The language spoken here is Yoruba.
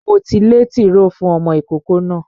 Mo ti lé tìróò fún ọmọ ìkókó náà.